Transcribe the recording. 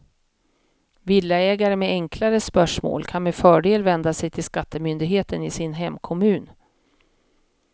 Villaägare med enklare spörsmål kan med fördel vända sig till skattemyndigheten i sin hemkommun.